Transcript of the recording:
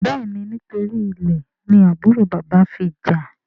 béèni nítorí ilè ni àbúrò bàbá fí jà.